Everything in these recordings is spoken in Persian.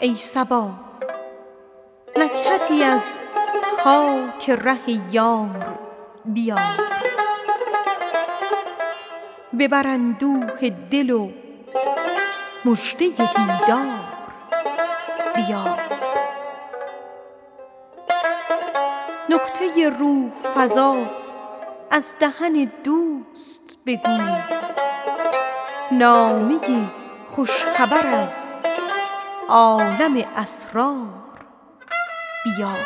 ای صبا نکهتی از خاک ره یار بیار ببر اندوه دل و مژده دل دار بیار نکته ای روح فزا از دهن دوست بگو نامه ای خوش خبر از عالم اسرار بیار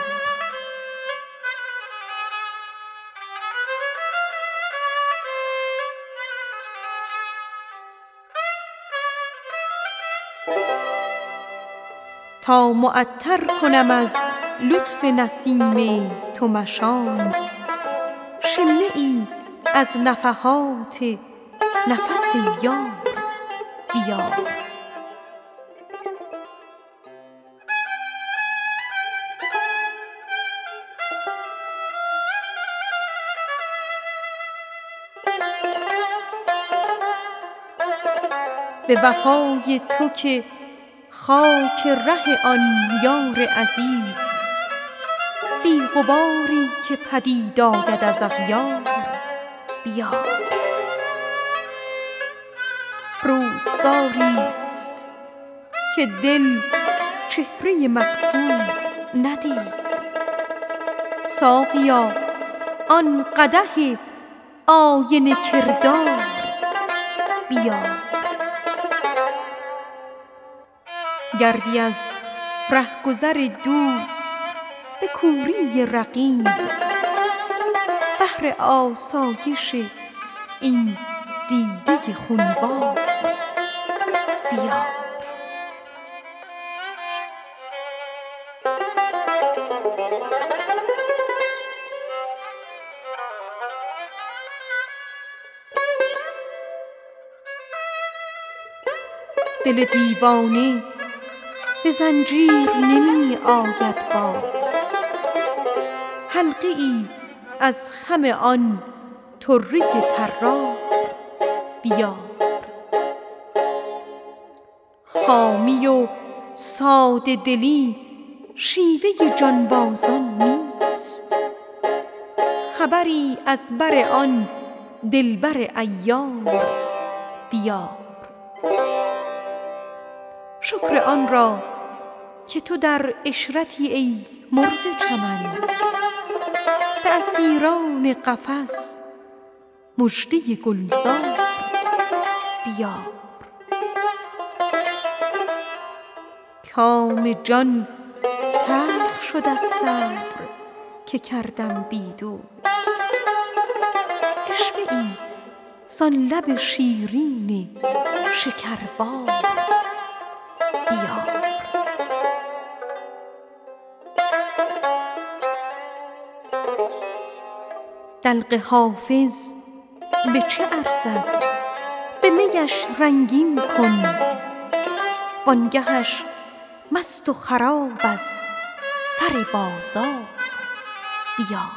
تا معطر کنم از لطف نسیم تو مشام شمه ای از نفحات نفس یار بیار به وفای تو که خاک ره آن یار عزیز بی غباری که پدید آید از اغیار بیار گردی از ره گذر دوست به کوری رقیب بهر آسایش این دیده خون بار بیار خامی و ساده دلی شیوه جانبازان نیست خبری از بر آن دل بر عیار بیار شکر آن را که تو در عشرتی ای مرغ چمن به اسیران قفس مژده گل زار بیار کام جان تلخ شد از صبر که کردم بی دوست عشوه ای زان لب شیرین شکربار بیار روزگاریست که دل چهره مقصود ندید ساقیا آن قدح آینه کردار بیار دلق حافظ به چه ارزد به می اش رنگین کن وان گه اش مست و خراب از سر بازار بیار